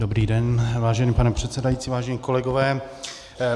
Dobrý den, vážený pane předsedající, vážení kolegové.